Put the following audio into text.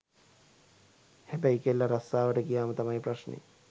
හැබැයි කෙල්ල රස්සාවට ගියාම තමයි ප්‍රශ්නේ.